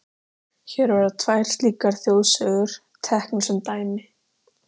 Sverrir Garðars hefur allt Ekki erfiðasti andstæðingur?